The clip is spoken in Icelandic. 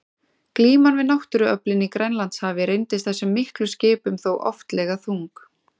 Glíman við náttúruöflin í Grænlandshafi reyndist þessum miklu skipum þó oftlega þung.